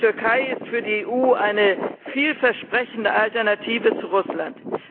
Die Türkei ist für die EU eine vielversprechende Alternative zu Russland.